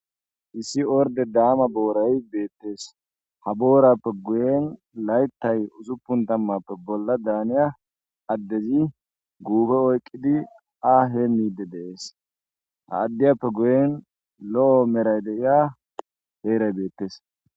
Issi ordde damma boorayi bettes ha boorappe guyen layittay ussupun tamappe bolla dannoya addezi guffe oyiqqidi ha hemidde de'es ha addiyappe guyen lo'o merayi de'iya herayi bettes.